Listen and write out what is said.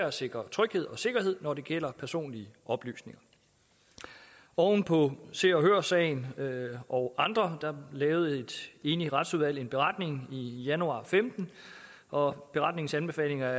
at sikre tryghed og sikkerhed når det gælder personlige oplysninger oven på se og hør sagen og andre sager lavede et enigt retsudvalg en beretning i januar to og femten og beretningens anbefalinger